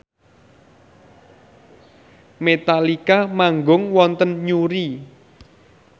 Metallica manggung wonten Newry